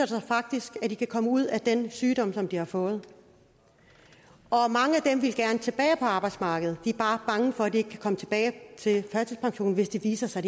sig faktisk at de kan komme ud af den sygdom som de har fået og og mange af dem vil gerne tilbage på arbejdsmarkedet de er bare bange for at de ikke kan komme tilbage til førtidspensionen hvis det viser sig